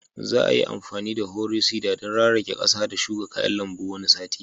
Za a yi amfani da harrow seeder don rarake ƙasa da shuka kayan lambu wani sati